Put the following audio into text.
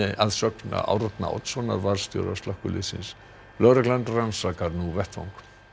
að sögn Árna Oddssonar varðstjóra slökkviliðsins lögreglan rannsakar nú vettvang